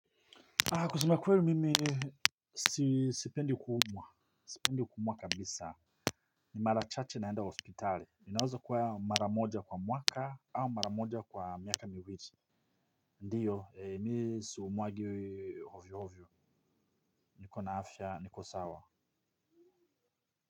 Haa kusema kweru mimi sipendi kuumwa. Sipendi kuumwa kabisa. Ni mara chaache naenda hospitali inaweza kywa mara moja kwa mwaka au mara moja kwa miaka miwili. Ndiyo mi siumwagwi ovyoovyo. Niko na afya niko sawa.